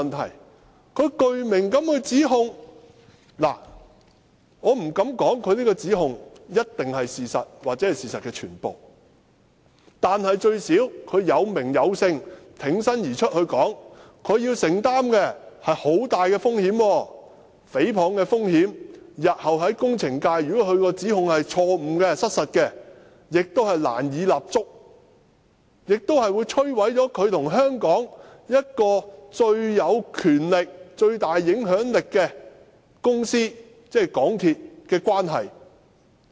投訴人具名地指控，我不敢說他的指控一定是事實或事實的全部，但最低限度他有名有姓、挺身而出地作出指控，他需要承擔很大的風險，誹謗的風險，如果他的指控是錯誤、失實的，日後他亦難以在工程界立足，並會摧毀他和香港最有權力、最大影響力的公司的關係。